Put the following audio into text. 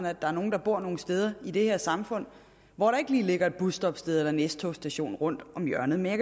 at der er nogen der bor nogle steder i det her samfund hvor der ikke lige ligger et busstoppested eller en s togs station rundt om hjørnet men